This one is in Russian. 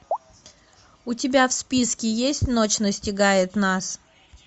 у тебя в списке есть ночь настигает нас